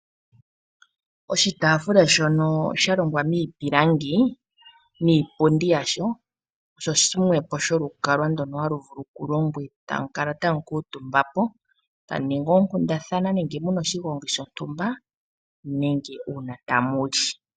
Oshitaafula shono sha longwa miipilangi niipundi yasho osho shimwe po sholukalwa ndono halu vulu kulongwa e tamu kala tamu kuutumba po tamu ningi oonkundathana nenge mu na oshigongi shontumba nenge uuna tamu li.